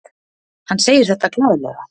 Hann segir þetta glaðlega.